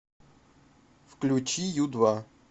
включи ю два